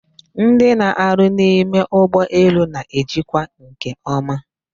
Ndị na-arụ n'ime ụgbọelu na-ejikwa nke ọma